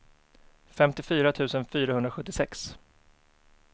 femtiofyra tusen fyrahundrasjuttiosex